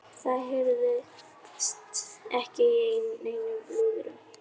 Það heyrðist ekki í neinum lúðrum.